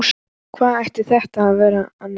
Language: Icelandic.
Hvað ætti þetta að vera annað?